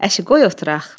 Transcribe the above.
Əşi, qoy oturaq.